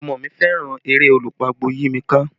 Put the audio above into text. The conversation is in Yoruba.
Omo mi fẹ́ràn eré Olú pagbo yí mi ká